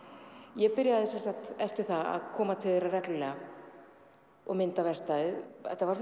ég byrjaði eftir það að koma til þeirra reglulega og mynda verkstæðið þetta var